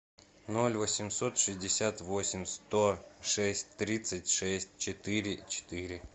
ноль восемьсот шестьдесят восемь сто шесть тридцать шесть четыре четыре